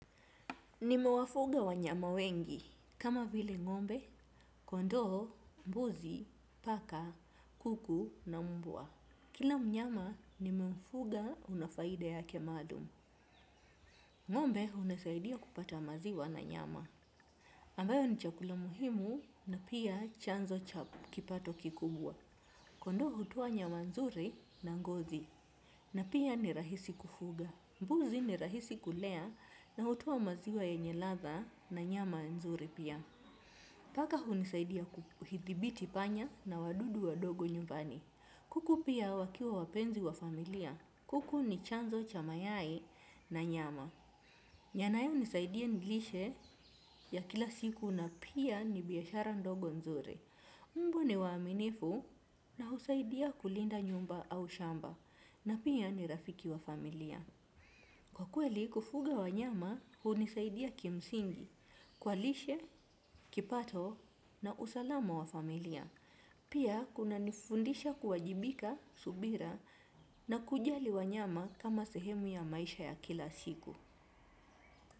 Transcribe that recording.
Nimewafuga wanyama wengi. Kama vile ngombe, kondoo, mbuzi, paka, kuku na mbwa. Kila mnyama nimemfuga una faida yake maalum. Ng'ombe hunisaidia kupata maziwa na nyama. Ambayo ni chakula muhimu na pia chanzo cha kipato kikubwa. Kondoo hutoa nyama nzuri na ngozi. Na pia ni rahisi kufuga. Mbuzi ni rahisi kulea na hutoa maziwa yenye ladha na nyama nzuri pia. Paka hunisaidia kuithibiti panya na wadudu wadogo nyumbani. Kuku pia wakiwa wapenzi wa familia. Kuku ni chanzo cha mayai na nyama. Yanayonisaidia nilishe ya kila siku na pia ni biashara ndogo nzuri. Mbwa ni waaminifu na husaidia kulinda nyumba au shamba. Na pia ni rafiki wa familia. Kwa kweli kufuga wanyama hunisaidia kimsingi, kwa lishe, kipato na usalama wa familia. Pia kunanifundisha kuwajibika subira na kujali wanyama kama sehemu ya maisha ya kila siku.